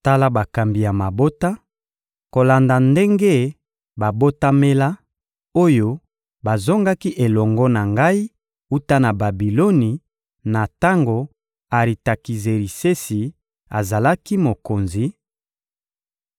Tala bakambi ya mabota, kolanda ndenge babotamela, oyo bazongaki elongo na ngai, wuta na Babiloni, na tango Aritakizerisesi azalaki mokonzi: